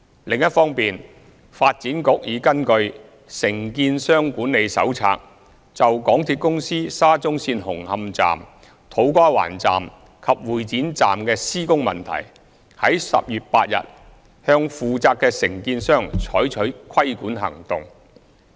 另一方面，發展局已根據《承建商管理手冊》，就港鐵公司沙中線紅磡站、土瓜灣站及會展站的施工問題，於10月8日向負責的承建商採取規管行動。